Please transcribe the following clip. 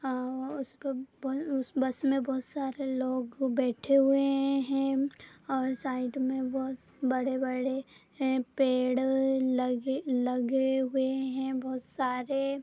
अम्म अ उस पे उस बस में बहुत सारे लोग बैठे हुए हैं और साइड में बहुत बड़े-बड़े ए पेड़ लग लगे हुए हैं बहुत सारे।